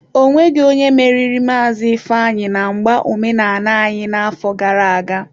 Ọ nweghi onye meriri Maazi Ifeanyi na mgba omenala anyi n'afo gara aga.